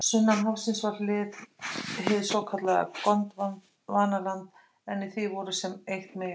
Sunnan hafsins var hið svokallaða Gondvanaland en í því voru sem eitt meginland